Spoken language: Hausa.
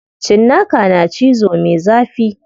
Cinnaka na cizo me zafi.